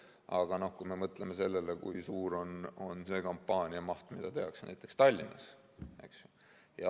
Aga mõtleme sellele, kui suur on selle kampaania maht, mida tehakse näiteks Tallinnas.